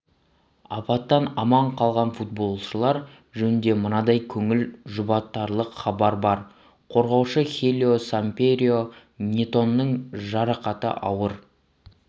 апаттан аман қалған футболшылар жөнінде мынандай көңіл жұбатарлық хабар бар қорғаушы хелио сампьеро нетоның жарақаты ауыр